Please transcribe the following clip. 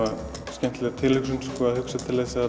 skemmtileg tilhugsun að